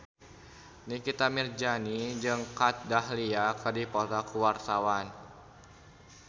Nikita Mirzani jeung Kat Dahlia keur dipoto ku wartawan